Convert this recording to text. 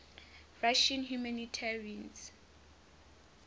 russian humanitarians